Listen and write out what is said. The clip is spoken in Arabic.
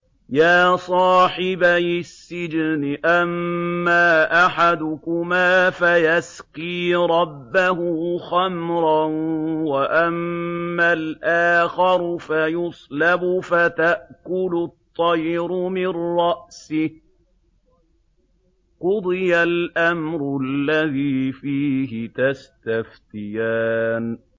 يَا صَاحِبَيِ السِّجْنِ أَمَّا أَحَدُكُمَا فَيَسْقِي رَبَّهُ خَمْرًا ۖ وَأَمَّا الْآخَرُ فَيُصْلَبُ فَتَأْكُلُ الطَّيْرُ مِن رَّأْسِهِ ۚ قُضِيَ الْأَمْرُ الَّذِي فِيهِ تَسْتَفْتِيَانِ